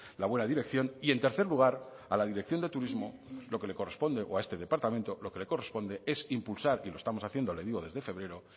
la buena dirección y en tercer lugar a la dirección de turismo lo que le corresponde o a este departamento lo que le corresponde es impulsar y lo estamos haciendo le digo desde febrero